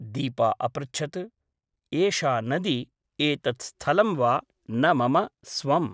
दीपा अपृच्छत् । एषा नदी , एतत् स्थलं वा न मम स्वम् ।